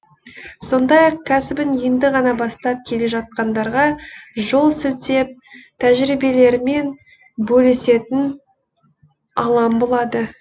сондай ақ кәсібін енді ғана бастап келе жатқандарға жол сілтеп тәжірибелерімен бөлісетін алаң болады